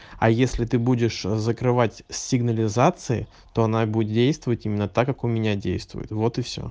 а если ты будешь закрывать сигнализации то она будет действовать именно так как у меня действует вот и всё